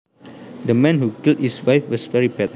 The man who killed his wife was very bad